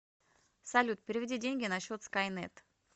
салют переведи деньги на счет скайнет